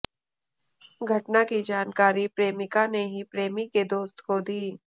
घटना की जानकारी प्रेमिका ने ही प्रेमी के दोस्त को दी